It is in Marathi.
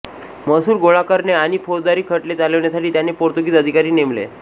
महसूल गोळा करणे आणि फौजदारी खटले चालविण्यासाठी त्याने पोर्तुगीज अधिकारी नेमले